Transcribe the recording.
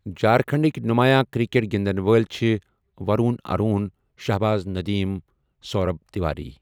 جہاركھنڈٕكۍ نمایا كرِ٘كیٹ گِندن وٲلہِ چھِ وروٗن اروٗن ،شاہباز ندیم سورب تِواری ۔